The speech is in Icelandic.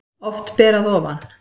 Oft ber að ofan